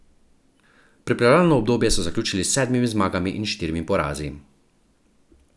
Pripravljalno obdobje so zaključili s sedmimi zmagami in štirimi porazi.